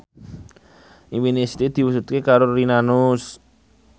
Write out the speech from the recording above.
impine Siti diwujudke karo Rina Nose